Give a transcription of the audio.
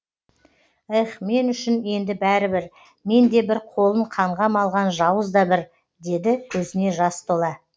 ех мен үшін енді бәрібір мен де бір қолын қанға малған жауыз да бір деді көзіне жас тола